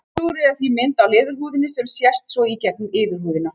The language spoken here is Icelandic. Húðflúrið er því mynd á leðurhúðinni sem sést svo í gegnum yfirhúðina.